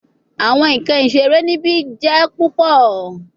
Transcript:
Awọn nkan isere nibi jẹ pupọ